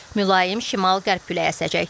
Mülayim şimal qərb küləyi əsəcək.